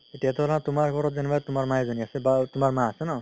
এতিয়া ধৰা তুমাৰ ঘৰত যেনেকুৱা তুমাৰ মা এজনি আছে বা তুমাৰ মা আছে ন